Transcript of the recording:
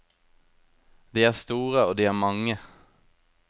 De er store, og de er mange.